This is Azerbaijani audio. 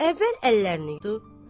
Əvvəl əllərini yudu.